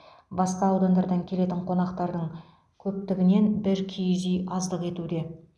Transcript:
басқа аудандардан келетін қонақтардың көптігінен бір киіз үй аздық етуде